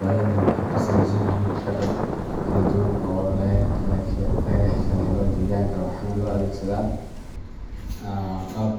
Badanaa waxay ka samaysan yihiin agab kala duwan oo laga helo deegaanka, waxaana loo adeegsadaa qalab